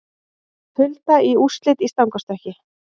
Hulda í úrslit í stangarstökki